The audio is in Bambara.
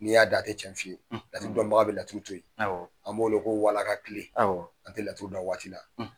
N'i y'a da a tɛ tiɲɛn fɔ i ye, laturu dɔnbaga bɛ laturu to yen, awɔ, an b'o wele ko walaka tile, awɔ, a tɛ laturuda a waati la.